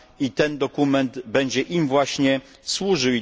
I ten dokument będzie im właśnie służył.